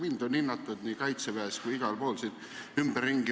Mind on hinnatud kaitseväes ja igal pool.